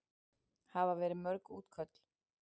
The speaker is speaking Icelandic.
Hafa verið mörg útköll?